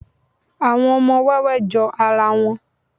àwọn ọmọ wẹwẹ jó ara wón